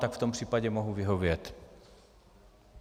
Tak v tom případě mohu vyhovět.